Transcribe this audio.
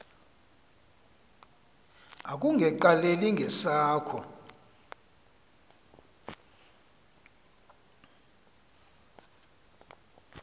akunge qaleli ngesakho